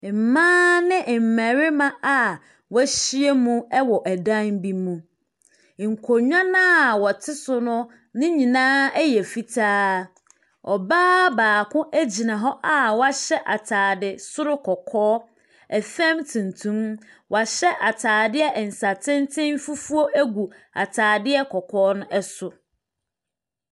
Mmaa ne mmarima a wɔahyia mu wɔ ɛdan bi mu. Nkonnwa no a wɔte so no, ne nyinaa yɛ fitaa. Ɔbaa baako gyina hɔ a wahyɛ atade soro kɔkɔɔ, fam tuntum. Wahyɛ atadeɛ nsatenten fufuo gu atadeɛ kɔkɔɔ no so.